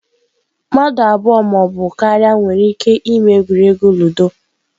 mmadụ abụọ ma ọ bụ karịa nwere ike ịme egwuregwu ludo.